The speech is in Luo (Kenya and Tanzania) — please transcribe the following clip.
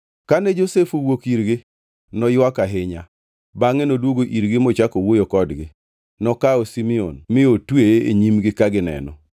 To ne ok gingʼeyo ni Josef owinjo gima giwacho nikech Josef noketo ngʼama lokone wach.